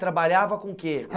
Trabalhava com o que?